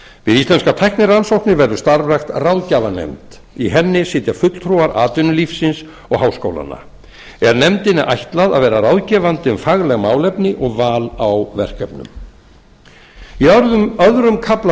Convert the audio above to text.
íslenskar tæknirannsóknir verður starfrækt ráðgjafarnefnd í henni sitja fulltrúar atvinnulífsins og háskólanna er nefndinni ætlað að vera ráðgefandi um fagleg málefni og val á verkefnum í öðrum kafla